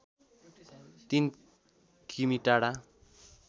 ३ किमि टाढा